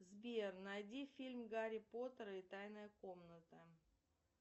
сбер найди фильм гарри поттер и тайная комната